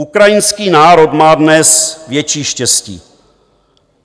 Ukrajinský národ má dnes větší štěstí.